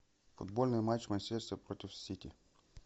футбольный матч манчестер против сити